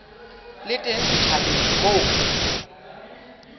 le teng setjhabeng moo dipuo